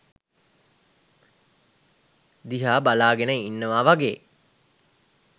දිහා බලාගෙන ඉන්නව වගේ.